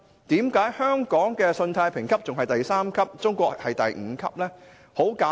為何香港的信貸評級是第三級，而中國的信貸評級是第五級呢？